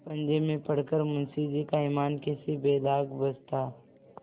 पंजे में पड़ कर मुंशीजी का ईमान कैसे बेदाग बचता